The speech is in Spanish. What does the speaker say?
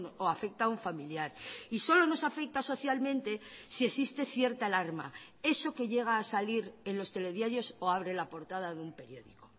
o afecta a un familiar y solo nos afecta socialmente si existe cierta alarma eso que llega a salir en los telediarios o abre la portada de un periódico